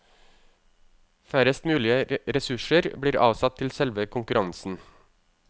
Færrest mulige ressurser ble avsatt til selve konkurransen.